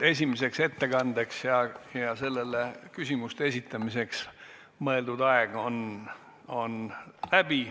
Esimese ettekande pidamiseks ja selle kohta küsimuste esitamiseks mõeldud aeg on läbi.